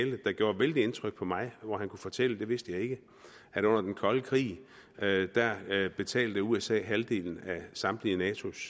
der gjorde vældig indtryk på mig hvor han kunne fortælle det vidste jeg ikke at under den kolde krig betalte usa halvdelen af samtlige natos